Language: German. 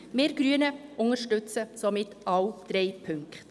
Wir Grüne unterstützen somit alle drei Punkte.